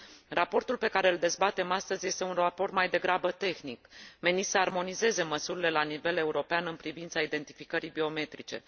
Raportul pe care îl dezbatem astăzi este un raport mai degrabă tehnic, menit să armonizeze măsurile la nivel european în privința identificării biometrice.